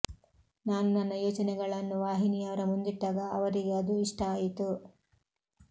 ನಾನು ನನ್ನ ಯೋಚನೆಗಳನ್ನು ವಾಹಿನಿಯವರ ಮುಂದಿಟ್ಟಾಗ ಅವರಿಗೆ ಅದು ಇಷ್ಟ ಆಯಿತು